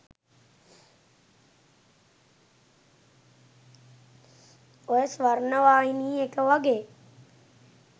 ඔය ස්වර්ණවාහිනී එක වගේ